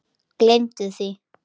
Gleymdu því!